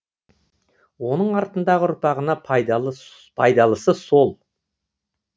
оның артындағы ұрпағына пайдалысы сол